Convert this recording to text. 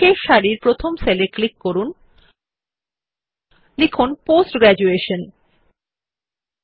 শেষ সারির প্রথম সেল এ ক্লিক করে লিখুন পোস্ট গ্র্যাজুয়েশন পাশের সেল এ ৭০ শতাংশ লিখুন